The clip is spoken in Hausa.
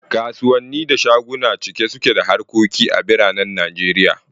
Kasuwanni da shaguna cike suke da harkoki a biranen Najeriya